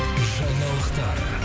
жаңалықтар